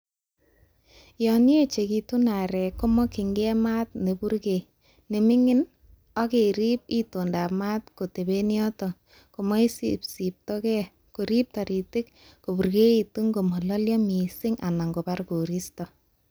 Yon yechekitun aarek, komokyingei maat neiipurgee nemingin, ak keriib itoondab maat koteben choton komoisibsibtoge koriibe toritik kopurgeitun komololyo missing anan kobar koriisto.